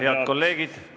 Head kolleegid!